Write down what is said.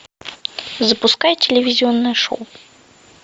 запускай телевизионное шоу